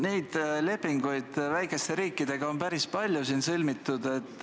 Neid lepinguid on väikeste riikidega päris palju sõlmitud.